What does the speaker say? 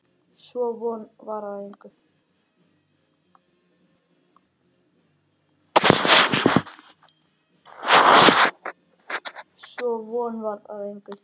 Sú von varð að engu.